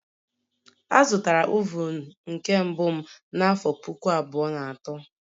Azụtara oven nke mbụ m n'afọ puku abụọ na atọ